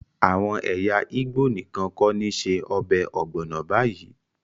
Àwọn ẹyà Igbo nìkan kọ́ ni ṣe ọbẹ̀ ogbono báyìí